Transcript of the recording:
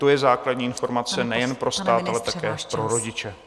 To je základní informace nejen pro stát, ale i pro rodiče.